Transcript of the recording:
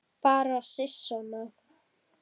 Bara sisona.